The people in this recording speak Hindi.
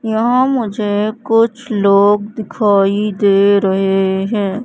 यहां मुझे कुछ लोग दिखाई दे रहे हैं।